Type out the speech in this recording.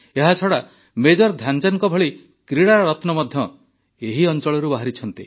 ଏହାଛଡ଼ା ମେଜର ଧ୍ୟାନଚାନ୍ଦଙ୍କ ଭଳି କ୍ରୀଡ଼ାରତ୍ନ ମଧ୍ୟ ଏହି ଅଞ୍ଚଳଳରୁ ବାହାରିଛନ୍ତି